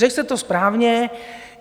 Řekl jste to správně.